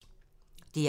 DR1